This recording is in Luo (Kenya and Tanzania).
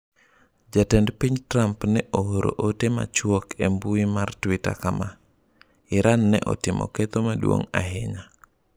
Jatend piny Trump ne ooro ote machuok e mbui mar Twitter kama: Iran ne otimo ketho maduong' ahinya.